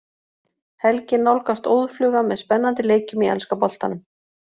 Helgin nálgast óðfluga með spennandi leikjum í enska boltanum.